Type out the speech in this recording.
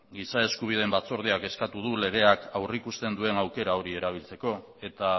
giza eskubideen batzordeak eskatu du legeak aurrikusten duen aukera hori erabiltzeko eta